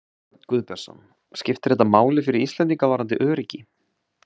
Jón Örn Guðbjartsson: Skiptir þetta máli fyrir Íslendinga varðandi öryggi?